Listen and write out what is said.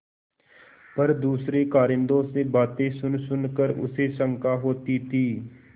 पर दूसरे कारिंदों से बातें सुनसुन कर उसे शंका होती थी